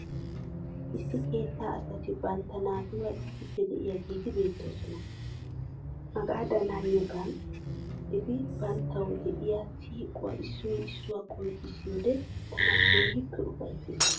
Issi keettaa asati bantta naatuura issippe de'iyageeti beettoosona. Hagaadan haniyogan eti banttawu de'iya siiquwaa issoy issuwawu qonccissiyoode tana keehippe ufayissees.